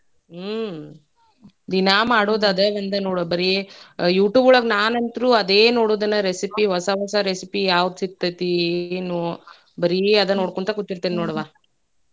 ಹ್ಮು ದಿನಾ ಮಾಡುದ್ ಅದ ಒಂದ ನೋಡ ಬರೇ YouTube ಒಳಗ್ ನಾನಂತ್ರೂ ಅದೇ ನೋಡೋದ್ನ recipe ಹೊಸ ಹೊಸ recipe ಯಾವ್ದ್ ಸಿಗ್ತೇತಿ ಏನು ಬರೇ ಅದೇ ನೋಡ್ಕೋಂತ ಕುಂತಿರ್ತೇನಿ ನೋಡ್ವಾ.